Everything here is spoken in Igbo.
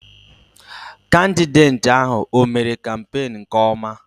Kandideti ahụ, ọ mère kampenu nke ọma?